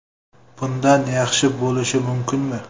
Bundan yaxshi bo‘lishi mumkinmi?